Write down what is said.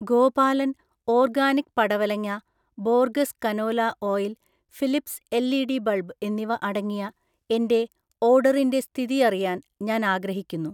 Gopalan organic പടവലങ്ങ, Borges canola oil, Philips LED. Bulb എന്നിവ അടങ്ങിയ എന്‍റെ ഓർഡറിന്‍റെ സ്ഥിതിഅറിയാൻ ഞാൻ ആഗ്രഹിക്കുന്നു